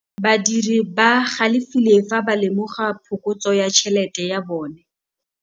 Badiri ba galefile fa ba lemoga phokotsô ya tšhelête ya bone.